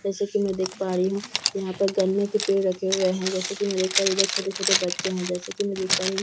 जैसा की मैं देख पा रही हूँ यहाँ पर गन्ने के पेड़ रखे हुए हैं जैसा की मैं देख पा रही हूँ इधर छोटे छोटे बच्चे हैं जैसा की मैं देख पा रही हूँ यहाँ पर --